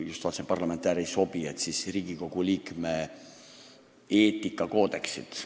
Just vaatasin, et "parlamentäär" ei sobi, nii et siis Riigikogu liikme eetikakoodeksit.